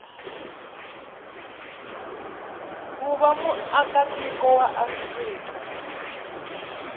ku va muakatiko wa afrika